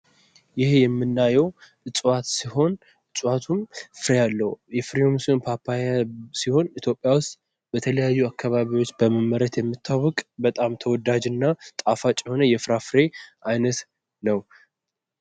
ይሄ የምናየው እጽዋት ሲሆን እጽዋቱም ፍሬ ያለው የፍሬውም ስም ፓፓያ ሲሆን በተለያዩ አካባቢዎች በመመረት የሚታወቅ በጣም ተወዳጅ እና ጣፋጭ የሆነ የፍራፍሬ አይነት ነው።